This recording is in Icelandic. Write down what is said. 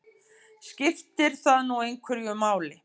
Skiptir það nú einhverju máli?